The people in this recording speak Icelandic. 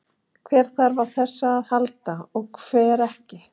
Hver þarf á þessu að halda og hver ekki?